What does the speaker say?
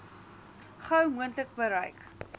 gou moontlik bereik